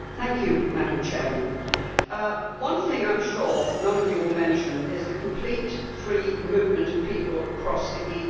Madam President, one thing I am sure none of you will mention is the complete free movement of people across the EU.